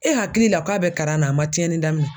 E hakili la k'a bɛ karan na a ma tiɲɛni daminɛ